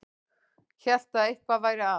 Hélt að eitthvað væri að.